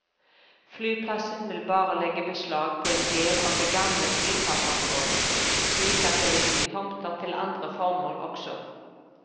Flyplassen vil bare legge beslag på en del av det gamle flyplassområdet, slik at det vil bli tomter til andre formål også.